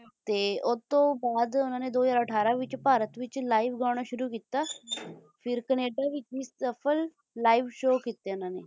ਤੇ ਉਸਤੋਂ ਬਾਅਦ ਉਨ੍ਹਾਂ ਨੇ ਦੋ ਹਜ਼ਾਰ ਅਠਾਰਾਂ ਵਿੱਚ ਭਾਰਤ ਵਿੱਚ live ਗਾਣਾ ਸ਼ੁਰੂ ਕੀਤਾ ਫਿਰ ਕਨੇਡਾ ਵਿੱਚ ਵੀ ਸਫਲ live show ਕੀਤੇ ਉਨਾਂ ਨੇ